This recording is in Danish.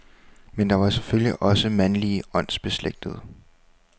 Men der var selvfølgelig også mandlige åndsbeslægtede.